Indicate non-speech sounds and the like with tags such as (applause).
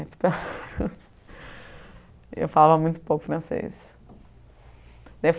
(laughs) Eu falava muito pouco francês.